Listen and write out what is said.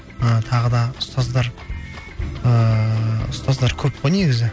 і тағы да ұстаздар ііі ұстаздар көп қой негізі